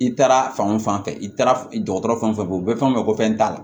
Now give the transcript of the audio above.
I taara fanfɛ i taara dɔgɔtɔrɔ fɛn o fɛn bɔ u bɛ fɛn o fɛn ko fɛn t'a la